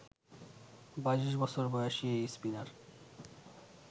২২ বছর বয়সী এই স্পিনার